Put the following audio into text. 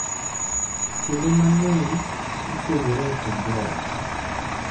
Kinde mang’eny, gipuonjore e kind joot.